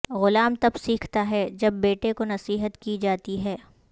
غلام تب سیکھتا ہے جب بیٹے کو نصیحت کی جاتی ہے